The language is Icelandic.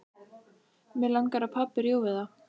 Mig langar að pabbi rjúfi það.